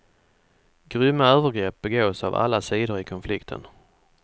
Grymma övergrepp begås av alla sidor i konflikten.